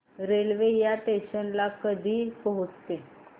railway या station ला कधी पोहचते